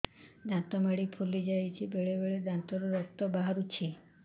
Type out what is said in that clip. ଦାନ୍ତ ମାଢ଼ି ଫୁଲି ଯାଉଛି ବେଳେବେଳେ ଦାନ୍ତରୁ ରକ୍ତ ବାହାରୁଛି